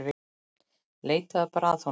Leitaðu bara að honum.